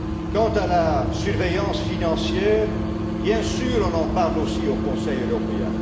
Quant à la surveillance financière, bien sûr qu'on en parle au Conseil européen.